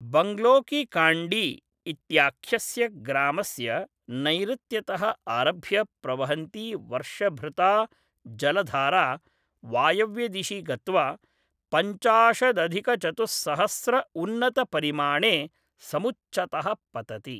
बङ्गलो की काण्डी इत्याख्यस्य ग्रामस्य नैऋत्यतः आरभ्य प्रवहन्ती वर्षभृता जलधारा वायव्यादिशि गत्वा पञ्चाशताधिकचतुस्सहस्र उन्नतपरिमाणे समुच्चतः पतति